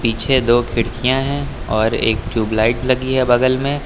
पीछे दो खिड़कियां है और एक ट्यूबलाइट लगी है बगल में।